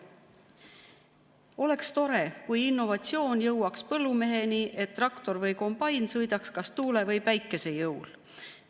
Oleks tore, kui innovatsioon jõuaks põllumeheni, et traktor või kombain sõidaks kas tuule või päikese jõul.